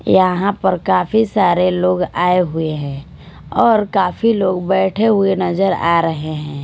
यहाँ पर काफी सारे लोग आए हुए हैं और काफी लोग बैठे हुए नजर आ रहें हैं।